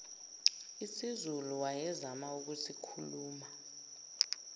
isizulu wayezama ukusikhuluma